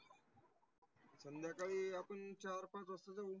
संध्याकाळी आपन चार पाच वाजता जावू.